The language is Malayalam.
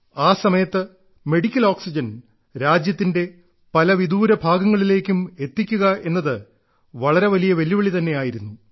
ആ സമയത്ത് മെഡിക്കൽ ഓക്സിജൻ രാജ്യത്തിന്റെ പല വിദൂര ഭാഗങ്ങളിലേക്കും എത്തിക്കുക എന്നത് വളരെ വലിയ വെല്ലുവിളി തന്നെയായിരുന്നു